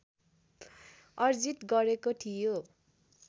अर्जित गरेको थियो